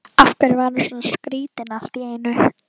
Af hverju var hann svona skrýtinn allt í einu?